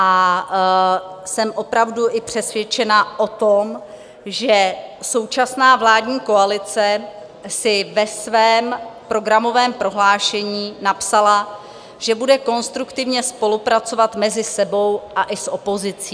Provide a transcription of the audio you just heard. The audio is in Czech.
A jsem opravdu i přesvědčena o tom, že současná vládní koalice si ve svém programovém prohlášení napsala, že bude konstruktivně spolupracovat mezi sebou a i s opozicí.